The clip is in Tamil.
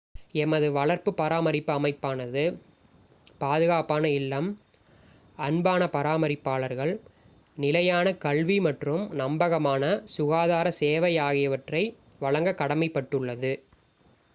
எமது வளர்ப்பு பராமரிப்பு அமைப்பானது பாதுகாப்பான இல்லம் அன்பான பராமரிப்பாளர்கள் நிலையான கல்வி மற்றும் நம்பகமான சுகாதார சேவை ஆகியவற்றை வழங்கக் கடமைப்பட்டுள்ளது